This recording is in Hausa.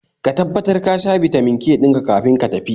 Ka tabbatar kasha Bitamin K dinka kafin ka tafi